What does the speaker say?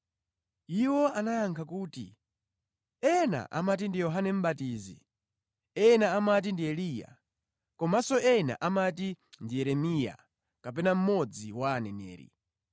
Iwo anayankha kuti, “Ena amati ndi Yohane Mʼbatizi; ena amati ndi Eliya; komanso ena amati Yeremiya kapena mmodzi wa aneneri.”